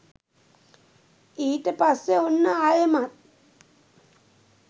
ඊට පස්සේ ඔන්න ආයෙමත්